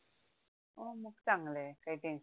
हो मग चांगले काही टेंशन नाही